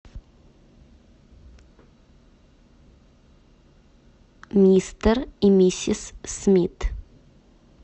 мистер и миссис смит